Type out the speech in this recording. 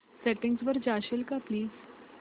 settings वर जाशील का प्लीज